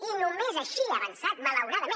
i només així ha avançat malauradament